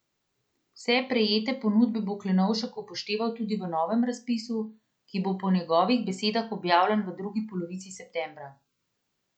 Vse prejete ponudbe bo Klenovšek upošteval tudi v novem razpisu, ki bo po njegovih besedah objavljen v drugi polovici septembra.